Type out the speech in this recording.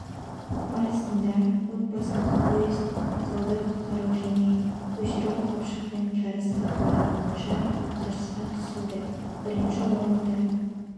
барысында отбасылық поезд суда құтқару және көшіру қапшықпен жарыс сатылары бойынша жарысқа түсілді бірінші орынды